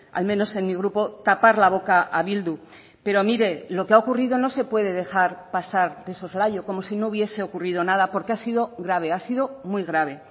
al menos en mi grupo tapar la boca a bildu pero mire lo que ha ocurrido no se puede dejar pasar de soslayo como si no hubiese ocurrido nada porque ha sido grave ha sido muy grave